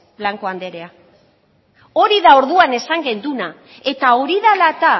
blanco anderea hori da orduan esan genuena eta hori dela eta